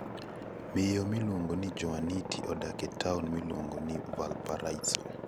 Miyo miluongo ni Juaniti odak e taon miluongo ni Valparaíso.